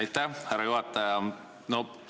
Aitäh, härra juhataja!